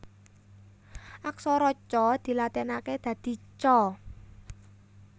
Aksara Ca dilatinaké dadi Ca